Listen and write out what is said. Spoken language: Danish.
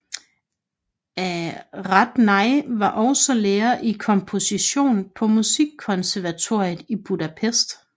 Radnai var også lærer i komposition på Musikkonservatoriet i Budapest